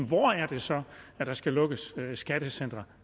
hvor er det så der skal lukkes et skattecenter